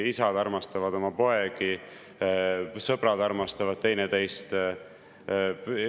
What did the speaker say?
Isad armastavad oma poegi, sõbrad armastavad teineteist.